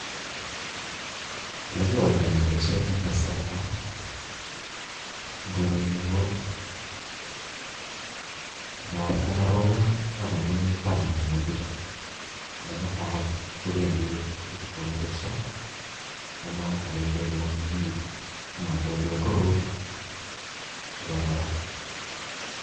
Ole kiwalda gee boishonik en kasarta en korenyun ko ngapi komoropon ak komii imbar minutik chuu ne mutai kopendii ib koresho nemoto kokonu rurutik chekororon.